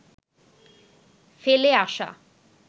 ফেলে আসা